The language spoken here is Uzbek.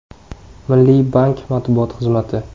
Milliy bank matbuot xizmati .